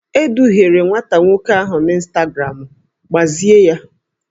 E duhiere nwata nwoke ahụ na ịnstagramụ, gbazie ya!